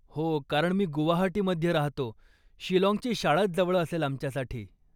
हो, कारण मी गुवाहाटीमध्ये राहतो, शिलाँगची शाळाच जवळ असेल आमच्यासाठी.